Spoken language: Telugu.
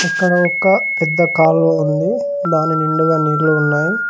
ఇక్కడ ఒక పెద్ద కాలువ ఉంది దాని నిండుగా నీళ్ళు ఉన్నాయి.